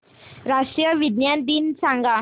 राष्ट्रीय विज्ञान दिन सांगा